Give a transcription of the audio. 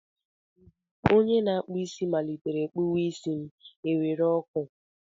Ozugbo onye na-akpụ isi malitere kpụwa isi m, e were ọkụ.